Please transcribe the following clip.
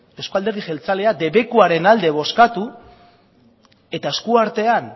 euzko alderdi jeltzaleak debekuaren alde bozkatu eta eskuartean